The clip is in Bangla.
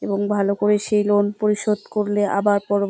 এবং ভালো করে সেই লোন পরিশোধ করলে আবার পরবর্ত--